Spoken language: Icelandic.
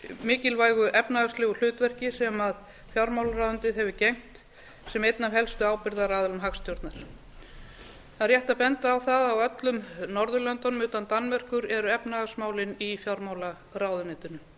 mikilvægu efnahagslegu hlutverki sem fjármálaráðuneytið hefur gegnt sem einn af helstu ábyrgðaraðilum hagstjórnar það er rétt að benda á það að alls staðar á norðurlöndunum utan danmerkur eru efnahagsmálin í fjármálaráðuneytinu